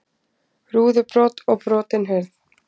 Rúðubrot og brotin hurð